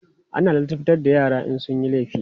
ana ladabtar da yara in sunyi laifi